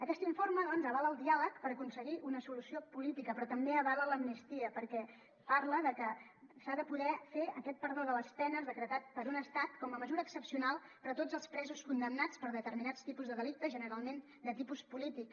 aquest informe doncs avala el diàleg per aconseguir una solució política però també avala l’amnistia perquè parla de que s’ha de poder fer aquest perdó de les penes decretat per un estat com a mesura excepcional per a tots els presos condemnats per determinats tipus de delicte generalment de tipus polític